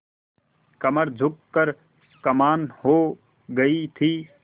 कमर झुक कर कमान हो गयी थी